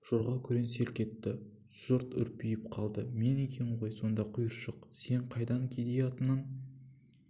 жорға күрең селк етті жұрт үрпиіп қалды мен екем ғой сонда құйыршық сен қайдан кедей атынан